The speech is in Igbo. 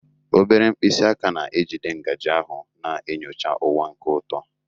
Obere mkpịsị aka na-ejide ngaji ahụ, na-enyocha ụwa nke ụtọ.